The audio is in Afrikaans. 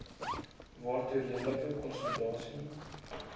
waartoe redelike konsolidasie